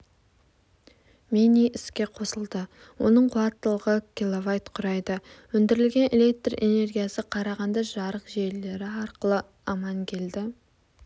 мини іске қосылды оның қуаттылығы киловатт құрайды өндірілген электр энергиясы қарағанды жарық желілері арқылы амангелді